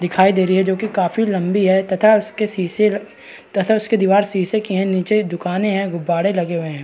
दिखाई दे रही है जो कि काफी लंबी है तथा उसके शीशे तथा उसकी दीवार शीशे की है नीचे दुकानें है गुब्बारे लगे हुए हैं।